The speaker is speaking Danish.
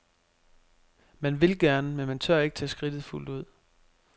Man vil gerne, men man tør ikke tage skridtet fuldt ud.